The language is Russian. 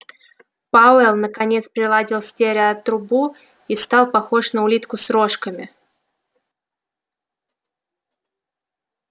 пауэлл наконец приладил стереотрубу и стал похож на улитку с рожками